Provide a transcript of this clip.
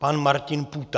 Pan Martin Půta.